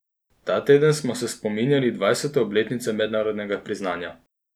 Ta teden smo se spominjali dvajsete obletnice mednarodnega priznanja.